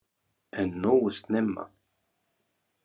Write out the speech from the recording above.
En nógu snemma.